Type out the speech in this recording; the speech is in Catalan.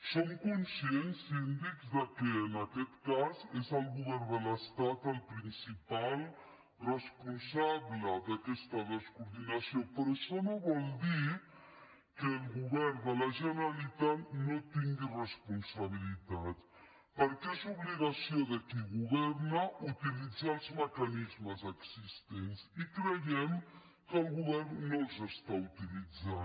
som conscients síndic que en aquest cas és el govern de l’estat el principal responsable d’aquesta descoordinació però això no vol dir que el govern de la generalitat no tingui responsabilitats perquè és obligació de qui governa utilitzar els mecanismes existents i creiem que el govern no els està utilitzant